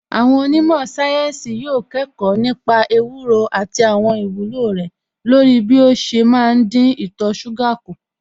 Àwọn onímọ̀ sáyẹ́ǹsì yóò kẹ́kọ̀ọ́ nípa ewúro àti àwọn ìwúlò rẹ̀ lóru bí ó ṣe má ń dín ìtọ̀ṣúgà kù